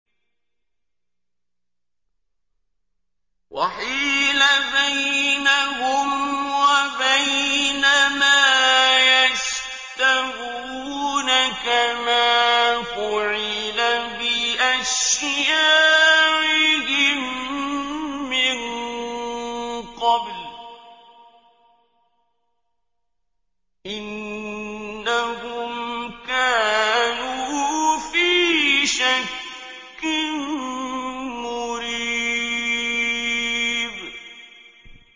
وَحِيلَ بَيْنَهُمْ وَبَيْنَ مَا يَشْتَهُونَ كَمَا فُعِلَ بِأَشْيَاعِهِم مِّن قَبْلُ ۚ إِنَّهُمْ كَانُوا فِي شَكٍّ مُّرِيبٍ